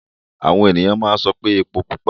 Àwọn ènìyàn máa ń sọ pé epó pupa.